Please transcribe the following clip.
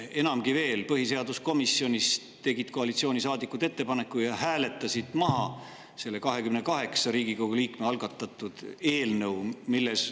Enamgi veel, põhiseaduskomisjonis tegid koalitsioonisaadikud ettepaneku ja hääletasidki maha selle 28 Riigikogu liikme algatatud eelnõu.